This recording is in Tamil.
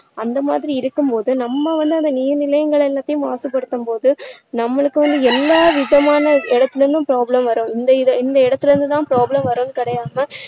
அந்த மாதிரி இருக்கும் போது நம்ம வந்து அந்த நீர் நிலைகள் எல்லாதையும் மாசுபடுத்தும்போது நம்மளுக்கு வந்து எல்லாவிதமான இடத்துலேயும் problem வரும் இந்த இதை இந்த இடத்துல இருந்து தான் problem வரும்னு கிடையாம